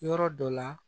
Yɔrɔ dɔ la